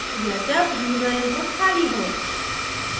या जब user input खाली हो